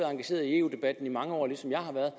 engageret i eu debatten i mange år ligesom jeg har været